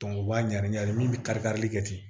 u b'a ɲagami a de min kari karili kɛ ten